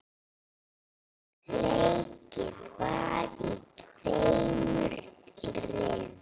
Leikið var í tveimur riðlum.